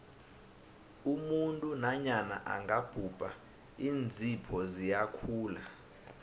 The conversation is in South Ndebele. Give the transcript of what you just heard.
umuntu nanyana angabhubha iinzipho ziyakhula